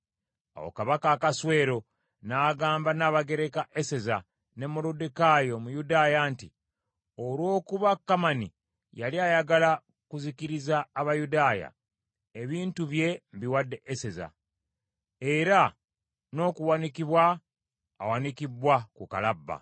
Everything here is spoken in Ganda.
Awo Kabaka Akaswero n’agamba Nnabagereka Eseza ne Moluddekaayi Omuyudaaya nti, “Olw’okuba Kamani yali ayagala kuzikiriza Abayudaaya, ebintu bye mbiwadde Eseza, era n’okuwanikibwa awanikibbwa ku Kalabba.